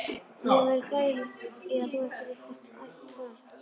Mér væri þægð í að þú ættir eitthvert barn.